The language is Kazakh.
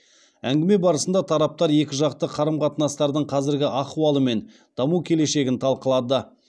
әңгіме барысында тараптар екіжақты қарым қатынастардың қазіргі ахуалы мен даму келешегін талқылады